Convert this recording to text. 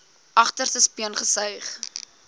agterste speen gesuig